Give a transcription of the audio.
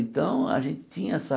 Então, a gente tinha essa...